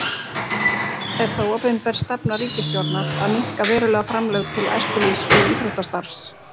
Er það opinber stefna ríkisstjórnar að minnka verulega framlög til æskulýðs- og íþróttastarfs?